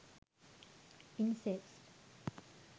incest